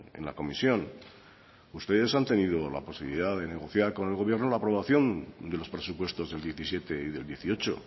en la comisión ustedes han tenido la posibilidad de negociar con el gobierno la aprobación de los presupuestos del diecisiete y del dieciocho